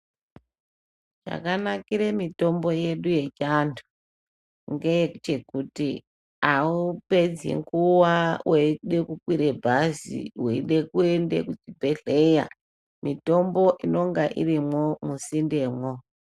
Chakanakire mitombo yedu ye chiantu ngeye kuti kuti awupedzi nguva weide ku kwira bhazi weide kuende ku chibhedhleya mitombo inenge irimwo mu sinde mwo.